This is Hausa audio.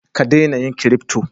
Ka dena yin kirifto